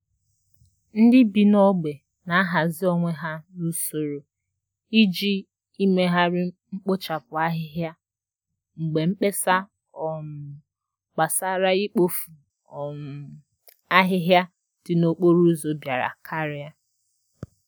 Ndị bi n'ógbè na ahazi onwe ha n'usoro i ji imegharị mkpochapu ahịhịa mgbe mkpesa um gbasara ikpofu um ahịhịa dị n'okporo ụzọ biara karia.